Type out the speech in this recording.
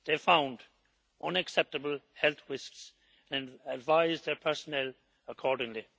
They found unacceptable health risks and advised their personnel accordingly.